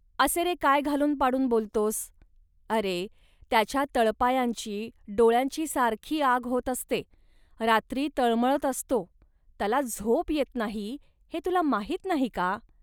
असे, रे, काय घालून पाडून बोलतोस. अरे, त्याच्या तळपायांची, डोळ्यांची सारखी आग होत असते, रात्री तळमळत असतो, त्याला झोप येत नाही, हे तुला माहीत नाही का